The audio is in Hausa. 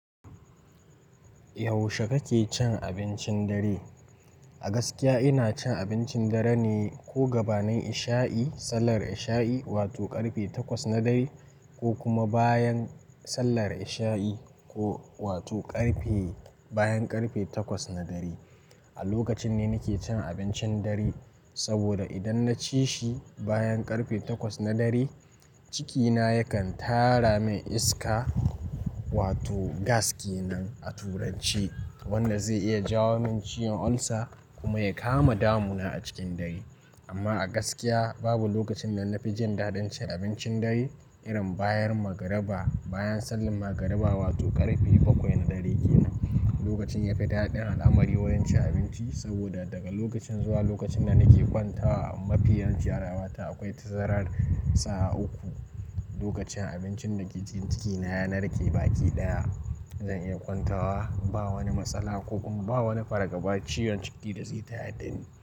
Yaushe kake cin abincin dare? A gaskiya ina cin abincin dare ne ko gabanin isha'i, sallar isha'i wato ƙarfe takwas na dare ko kuma bayan sallar isha'i ko wato ƙarfe, bayan ƙarfe takwas na dare. A lokacin ne nake cin abincin dare, saboda idan naci shi bayan ƙarfe takwas na dare, cikina yakan tara min iska wato gas kenan a turanci, wanda zai iya jawo min ciyon ulcer kuma ya kama damuna a cikin dare. Amma a gaskiya babu lokacin da na fi jin daɗin cin abincin dare irin bayan magariba, bayan sallan magariba wato ƙarfe bakwai na dare ke nan. Lokacin yafi daɗi a al'amari wajen cin abinci saboda daga lokacin zuwa lokacin da nake kwantawa a mafiyan fiyarawa ta akwai tazarar sa'a uku. Lokacin abincin da ke cin cikina ya narke baki ɗaya zan iya kwantawa ba wani matsala ko kuma ba wani fargaba ciyon ciki da zai taya dani.